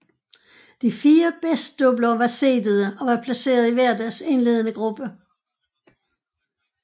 De fire bedst doubler var seedede og var placeret i hver deres indledende gruppe